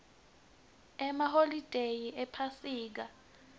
emaholide ephasika